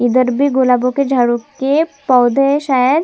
इधर भी गुलाबो के झाड़ो के पौधे है शायद--